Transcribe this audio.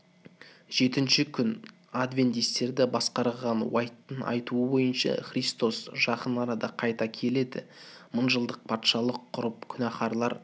жетінші күн адвентистерді басқарған уайттың айтуы бойынша христос жақын арада қайта келеді мың жылдық патшалық құрып күнәһарлар